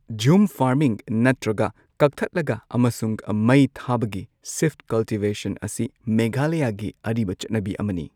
ꯓꯨꯝ farming, ꯅꯠꯇ꯭ꯔꯒ ꯀꯛꯊꯠꯂꯒ ꯑꯃꯁꯨꯡ ꯃꯩꯊꯥꯕꯒꯤ ꯁꯤꯐꯠ ꯀꯜꯇꯤꯚꯦꯁꯟ ꯑꯁꯤ ꯃꯦꯘꯥꯂꯌꯥꯒꯤ ꯑꯔꯤꯕ ꯆꯠꯅꯕꯤ ꯑꯃꯅꯤ꯫